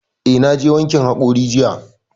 Eh, na je wankin haƙori jiya